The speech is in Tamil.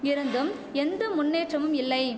இருந்தும் எந்த முன்னேற்றமும் இல்லை